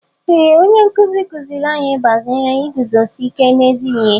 Ee onye nkụzi kụziiri anyị banyere iguzosi ike n'ezi ihe.